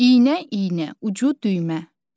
İynə, iynə, ucu düymə.